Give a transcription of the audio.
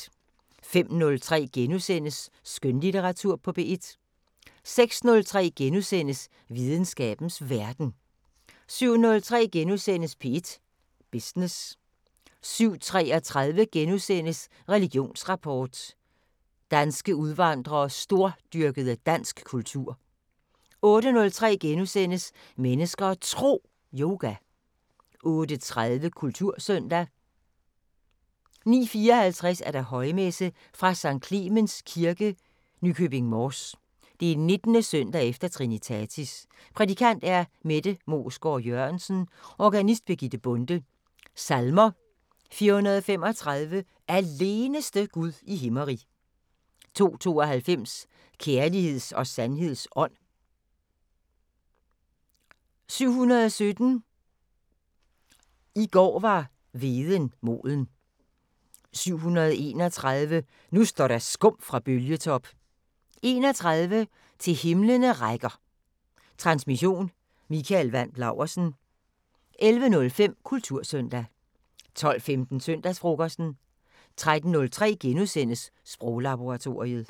05:03: Skønlitteratur på P1 * 06:03: Videnskabens Verden * 07:03: P1 Business * 07:33: Religionsrapport: Danske udvandrede stordyrkede dansk kultur * 08:03: Mennesker og Tro: Yoga * 08:30: Kultursøndag 09:54: Højmesse - Fra Skt. Clemens Kirke, Nykøbing Mors. 19. søndag efter Trinitatis. Prædikant: Mette Moesgaard Jørgensen. Organist: Birgitte Bonde. Salmer: 435 "Aleneste Gud i himmerig". 292 "Kærligheds og sandheds ånd". 717 "I går var hveden moden". 731 "Nu står der skum fra bølgetop". 31 "Til himlene rækker". Transmission: Mikael Wandt Laursen. 11:05: Kultursøndag 12:15: Søndagsfrokosten 13:03: Sproglaboratoriet *